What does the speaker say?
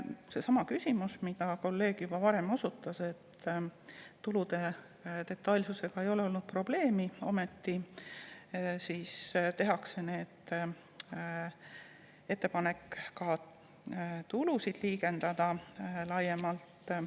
Seesama küsimus, millele kolleeg juba osutas, et tulude detailsusega ei ole probleeme olnud, ometi tehakse ettepanek ka tulusid laiemalt liigendada.